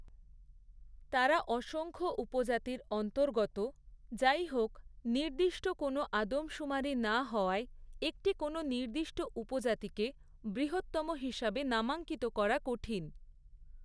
তারা অসংখ্য উপজাতির অন্তর্গত; যাইহোক, নির্দিষ্ট কোনও আদমশুমারি না হওয়ায় একটি কোনও নির্দিষ্ট উপজাতিকে বৃহত্তম হিসাবে নামাঙ্কিত করা কঠিন।